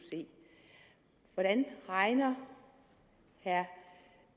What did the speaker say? hvordan regner herre